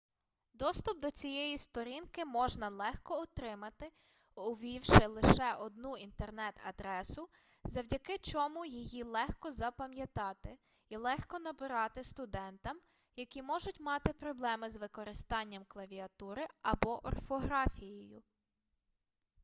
доступ до цієї сторінки можна легко отримати увівши лише одну інтернет-адресу завдяки чому її легко запам'ятати і легко набирати студентам які можуть мати проблеми з використанням клавіатури або орфографією